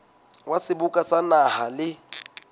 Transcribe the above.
wa seboka sa naha le